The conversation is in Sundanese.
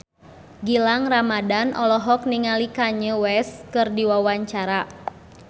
Gilang Ramadan olohok ningali Kanye West keur diwawancara